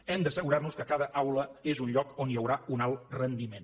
hem d’assegurar nos que cada aula és un lloc on hi haurà un alt rendiment